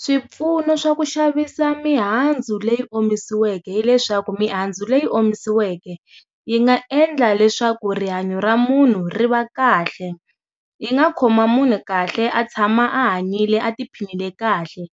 Swipfuno swa ku xavisa mihandzu leyi omisiweke hileswaku mihandzu leyi omisiweke yi nga endla leswaku rihanyo ra munhu ri va kahle yi nga khoma munhu kahle a tshama a hanyile a tiphinile kahle